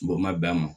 Bɔ ma bɛn a ma